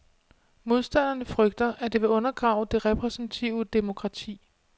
Modstanderne frygter, at det vil undergrave det repræsentative demokrati.